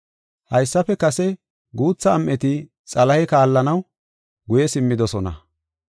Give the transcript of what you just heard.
Haysafe kase guutha am7eti Xalahe kaallanaw guye simmidosona.